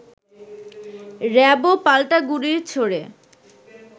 র‍্যাবও পাল্টা গুলি ছোঁড়ে